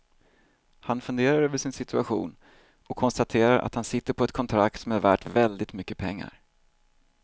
Han funderar över sin situation och konstaterar att han sitter på ett kontrakt som är värt väldigt mycket pengar.